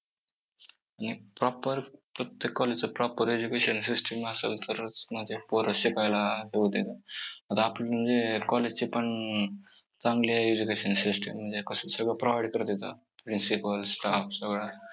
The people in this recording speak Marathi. proper प्रत्येक college च proper education system असेल तरच पोरं शिकायला आता आपलं म्हणजे college चे पण चांगली आहे education system म्हणजे कसं सगळं provide करतात. principal staff सगळं आहे.